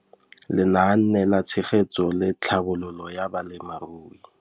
Lenaane la Tshegetso le Tlhabololo ya Balemirui.